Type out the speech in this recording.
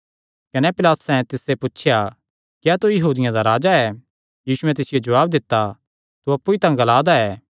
कने पिलातुसैं तिसते पुछया क्या तू यहूदियां दा राजा ऐ यीशुयैं तिसियो जवाब दित्ता तू अप्पु ई तां ग्ला दा ऐ